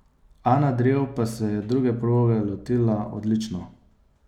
Ana Drev pa se je druge proge lotila odlično.